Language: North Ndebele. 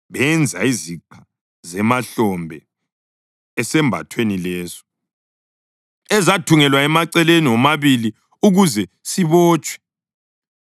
Benza iziqa zemahlombe esambathweni leso, ezathungelwa emaceleni womabili ukuze sibotshwe.